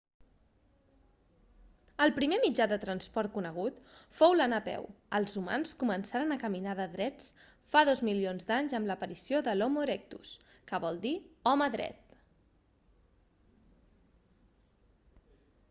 el primer mitjà de transport conegut fou l'anar a peu els humans començaren a caminar de drets fa dos milions d'anys amb l'aparició de l'homo erectus que vol dir home dret